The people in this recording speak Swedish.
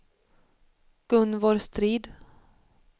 Gunvor Strid